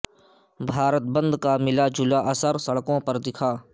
بھارت بند کا ملا جلا اثر سڑکوں پر دکھا